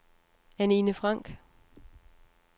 Anine Franck